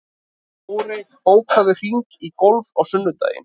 Dórey, bókaðu hring í golf á sunnudaginn.